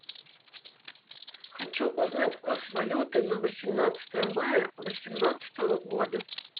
хочу узнать курс валюты на восемнадцатое мая восемнадцатого года